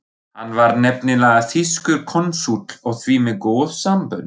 Hann var nefnilega þýskur konsúll og því með góð sambönd.